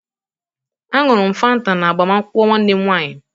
A ṅụrụ m fanta na agbamakwụkwọ nwanne m nwanyị